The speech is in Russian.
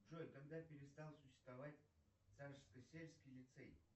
джой когда перестал существовать царскосельский лицей